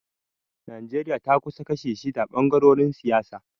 Najeriya ta kasu kashi shida ɓangarorin siyasa.